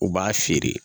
U b'a feere